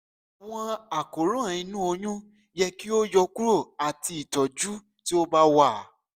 awọn àkóràn inu oyun yẹ ki o yọkuro ati itọju ti o ba wa